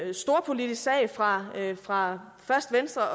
en storpolitisk sag fra fra først venstres